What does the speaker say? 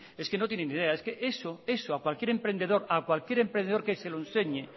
es que no tiene ni idea es que eso a cualquier emprendedor que se lo enseñe